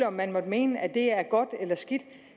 om man måtte mene at det er godt eller skidt